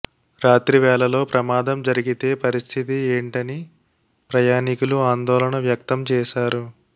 రాత్రివేళలో ప్రమాదం జరిగితే పరిస్థితి ఏంటని ప్రయాణికులు ఆందోళన వ్యక్తం చేశారు